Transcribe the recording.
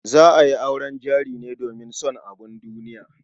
Za a yi auren jari ne domin son abun duniya.